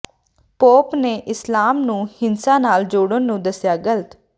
pop ਨੇ ਇਸਲਾਮ ਨੂੰ ਹਿੰਸਾ ਨਾਲ ਜੋੜਨ ਨੂੰ ਦੱਸਿਆ ਗ਼ਲਤ